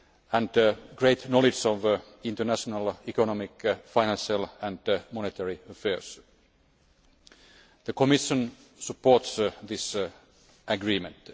and a great knowledge of international economic, financial and monetary affairs. The Commission supports this agreement.